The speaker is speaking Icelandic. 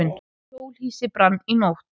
Hjólhýsi brann í nótt